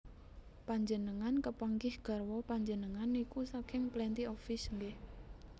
Panjenengan kepanggih garwa panjenengan niku saking Plenty of Fish nggeh